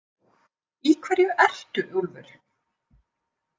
Í hverju ertu, Úlfur?